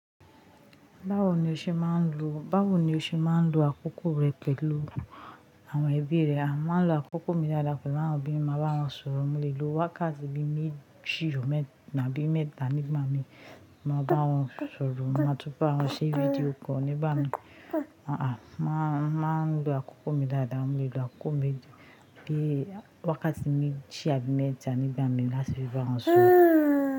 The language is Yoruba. Báwo ni o ṣe máa ń lo, báwo ni o ṣe máa ń lo àkókò rẹ pẹ̀lú àwọn ẹbí rẹ? A máa ń lo àkókò mi dáadáa pẹ̀lú àwọn ẹbí mi, màá bá wọn sọ̀rọ̀ múlẹ̀ lọ wákàtí bí méjì, gbòòrọ̀ mẹ́ta níbí mẹ́ta níbí mami. Màá bá wọn sọ̀rọ̀, màá túbọ̀ bá wọn ṣe fídíò call nígbà náà. Àáa, máa ń lo àkókò mi dáadáa múlẹ̀ lo àkókò mi bí wákàtí méjì àbí mẹ́ta nígbà méjì láti fi bá wọn sọ̀rọ̀